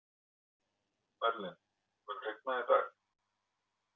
Merlin, mun rigna í dag?